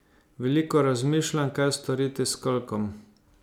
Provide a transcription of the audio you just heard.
Veliko razmišljam, kaj storiti s kolkom.